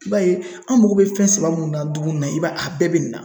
I b'a ye an mago bɛ fɛn saba mun na dumuni na, a bɛɛ bɛ nin na.